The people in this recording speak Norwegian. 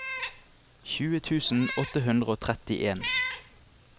tjue tusen åtte hundre og trettien